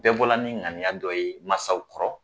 Bɛɛ bɔla ni ɲaniya dɔ ye masaw kɔrɔ